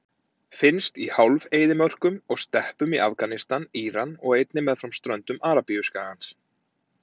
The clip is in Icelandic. Finnst í hálf-eyðimörkum og steppum í Afganistan, Íran og einnig meðfram ströndum Arabíuskagans.